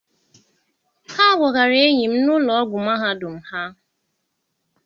Ha gbọgara enyi m n'ụlọ ọgwụ mahadum ha.